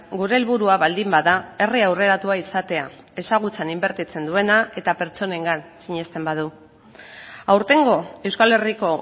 gure helburua baldin bada herri aurreratua izatea ezagutzan inbertitzen duena eta pertsonengan sinesten badu aurtengo euskal herriko